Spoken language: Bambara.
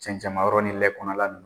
Cɛncɛnma yɔrɔ ni lɛ kɔnɔna ninnu.